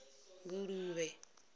nguluvhe